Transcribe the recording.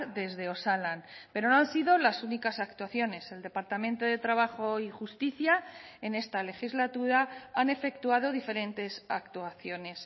desde osalan pero no han sido las únicas actuaciones el departamento de trabajo y justicia en esta legislatura han efectuado diferentes actuaciones